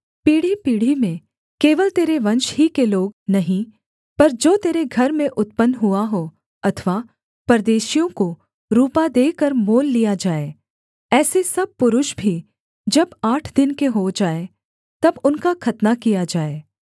पीढ़ीपीढ़ी में केवल तेरे वंश ही के लोग नहीं पर जो तेरे घर में उत्पन्न हुआ हों अथवा परदेशियों को रूपा देकर मोल लिया जाए ऐसे सब पुरुष भी जब आठ दिन के हों जाएँ तब उनका खतना किया जाए